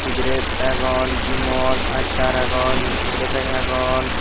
sigiret agon vimol achar agon biskudo peged agon.